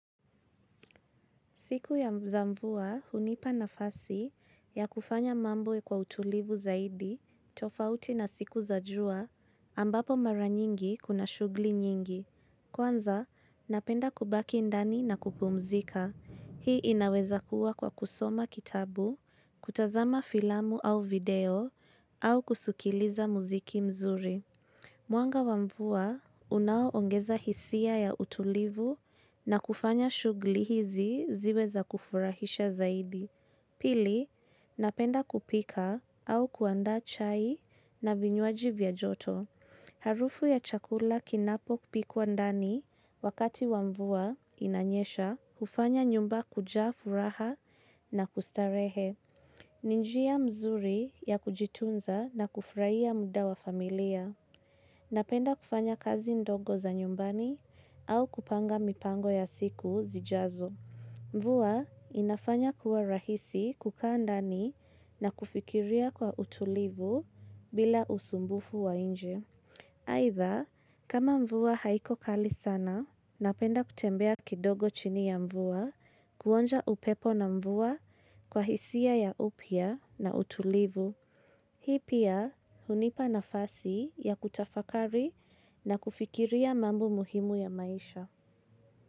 Siku ya mzamvua hunipa nafasi ya kufanya mambo kwa utulivu zaidi, tofauti na siku za jua, ambapo mara nyingi kuna shugli nyingi. Kwanza, napenda kubaki ndani na kupumzika. Hii inaweza kuwa kwa kusoma kitabu, kutazama filamu au video, au kusukiliza muziki mzuri. Mwanga wa mvua unao ongeza hisia ya utulivu na kufanya shughli hizi ziwe za kufurahisha zaidi. Pili, napenda kupika au kuandaa chai na vinywaji vya joto. Harufu ya chakula kinapopikwa ndani wakati wa mvua inanyesha hufanya nyumba kujaribu furaha na kustarehe. Ni njia mzuri ya kujitunza na kufurahia muda wa familia. Napenda kufanya kazi ndogo za nyumbani au kupanga mipango ya siku zijazo. Mvua inafanya kuwa rahisi kukaa ndani na kufikiria kwa utulivu bila usumbufu wa inje. Aidha, kama mvua haiko kali sana, napenda kutembea kidogo chini ya mvua kuonja upepo na mvua kwa hisia ya upya na utulivu. Hii pia hunipa nafasi ya kutafakari na kufikiria mambo muhimu ya maisha.